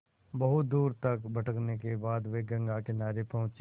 बहुत दूर तक भटकने के बाद वे गंगा किनारे पहुँचे